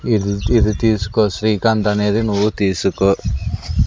ఇది ఇది తీసుకో శ్రీకాంత్ అనేది నువ్వు తీసుకో.